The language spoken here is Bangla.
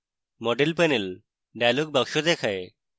model panel dialog box দেখায়